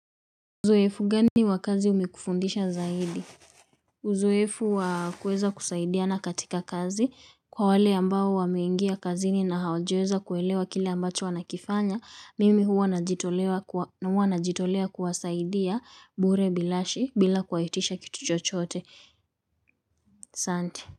Uzoefu gani wa kazi umekufundisha zaidi? Uzoefu wakuweza kusaidiana katika kazi kwa wale ambao wameingia kazini na hawajaweza kuelewa kile ambacho wanakifanya, mimi huwa najitolea kuwasaidia bure bilashi bila kuwaitisha kitu chochoote, asante.